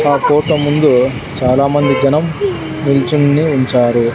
నా కోత ముందు చాలామంది జనం నిల్చొని ఉంచారు.